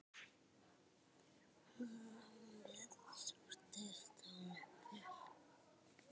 Námið sóttist honum vel.